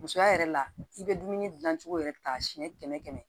Musoya yɛrɛ la i bɛ dumuni gilan cogo yɛrɛ ta siɲɛ kɛmɛ